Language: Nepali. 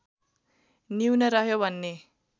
न्यून रह्यो भन्ने